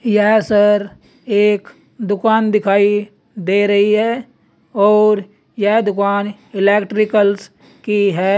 यह सर एक दुकान दिखाई दे रही है और यह दुकान इलेक्ट्रिकल्स की है।